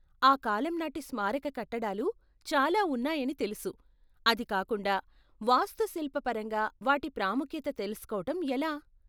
ఆ కాలం నాటి స్మారక కట్టడాలు చాలా ఉన్నాయని తెలుసు, అది కాకుండా, వాస్తుశిల్ప పరంగా వాటి ప్రాముఖ్యత తెలుసుకోవటం ఎలా?